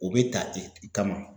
O bɛ ta ten i kama